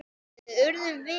Við urðum vinir.